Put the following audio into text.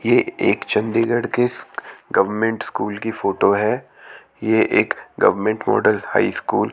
यह एक चंडीगढ़ के गवर्नमेंट स्कूल की फोटो है यह एक गवर्नमेंट मॉडल हाई स्कूल --